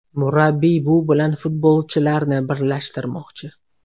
Murabbiy bu bilan futbolchilarni birlashtirmoqchi.